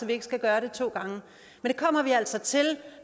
vi ikke skal gøre det to gange men det kommer vi altså til